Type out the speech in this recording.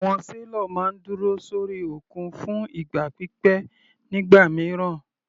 Àwọn sailor máa ń dúró sórí òkun fún ìgbà pípẹ́ nígbà mìíràn.